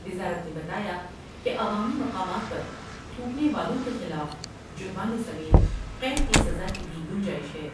وزارت نے بتایا کہ عوامی مقامات پر تھونکنے والوں کے خلاف جرمانے سمیت قید کی سزا کی بھی گنجائش ہے ۔